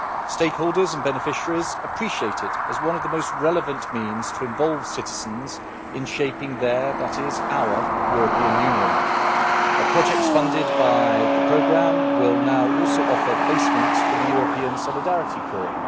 Stakeholders and beneficiaries appreciate it as one of the most relevant means to involve citizens in shaping their that is, our European Union. Projects funded by the programme will now also offer placements for the European Solidarity Corps.